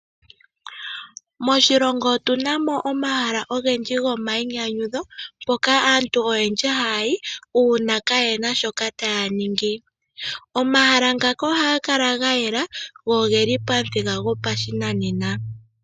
Moshilongo otunamo omahala ogendji gomayi nyanyudho mpoka aantu oyendji haya yi uuna kayena shoka taya ningi. Omahala ngaka ohaga kala gayela go ogeli pamuthika gopashinanena